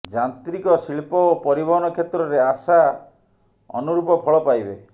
ଯାନ୍ତ୍ରିକ ଶିଳ୍ପ ଓ ପରିବହନ କ୍ଷେତ୍ରରେ ଆଶା ଅନୁରୂପ ଫଳ ପାଇବେ